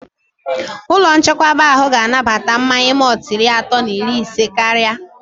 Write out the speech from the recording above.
Ụlọ nchekwaba ahụ ga anabata mmanya mọltụ iri atọ na iri isé karịa